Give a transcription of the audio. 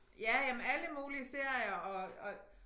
Ja ja men alle mulige serier og og